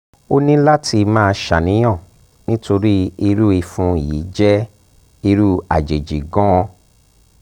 o ní láti máa ṣàníyàn nítorí irú ìfun yìí jẹ́ irú àjèjì gan-an